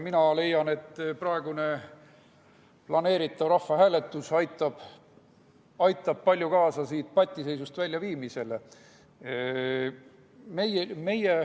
Mina leian, et planeeritav rahvahääletus aitab palju kaasa selle patiseisust väljaviimisele.